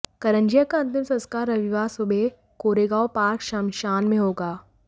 करंजिया का अंतिम संस्कार रविवार सुबह कोरेगांव पार्क श्मशान में होगा